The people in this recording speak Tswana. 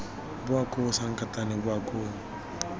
bowa koo sankatane bowa koo